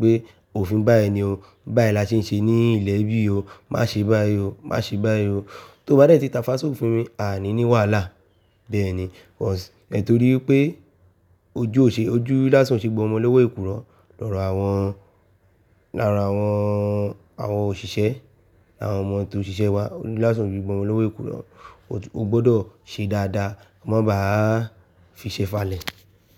pé òfin báyìí ni o, báyìí la ṣe ń ṣe ní ilẹ̀ bí i o, má ṣe báyìí o, má ṣe báyìí o. Tó bá dẹ́ti táfa sọ òfin mi, a ní ní wàhálà bẹ́ẹ̀ ni. Ọ̀s-- torí pé ojú ò ṣe, ojú lásán oṣe gbo ọmọ lówó èkurọ lọ́rọ̀ àwọn, láára àwọn, àwọn òṣìṣẹ́, àwọn ọmọ tó ń ṣiṣẹ́ wa. Ojú Lásán oṣe gbo ọmọ lówó èkurọ, o gbọdọ̀ ṣe dáadáa, má bá a fi ṣe falẹ̀